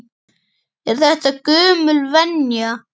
Er þetta gömul venja?